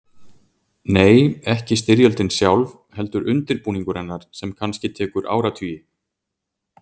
Nei, ekki styrjöldin sjálf, heldur undirbúningur hennar sem kannski tekur áratugi.